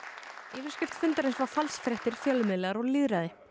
yfirskrift fundarins var falsfréttir fjölmiðlar og lýðræði